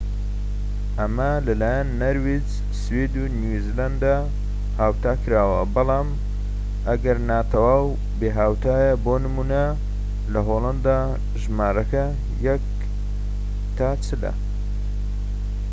ئەمە لە لایەن نەرویج، سوید و نیو زیلاند هاوتاکراوە، بەڵام ئەگەرنا تەواو بێھاوتایە بۆ نموونە لە هۆلەندا ژمارەکە یەک تا چلە